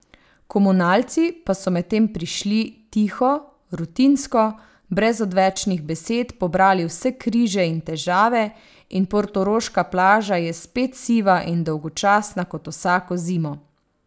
Komunalci pa so medtem prišli, tiho, rutinsko, brez odvečnih besed pobrali vse križe in težave in portoroška plaža je spet siva in dolgočasna kot vsako zimo.